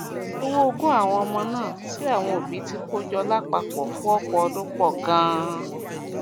owó ogún àwọn ọmọ náà tí àwọn òbí òbí ti kó jọ lápapọ fún ọpọ ọdún pọ ganan